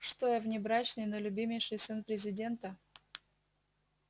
что я внебрачный но любимейший сын президента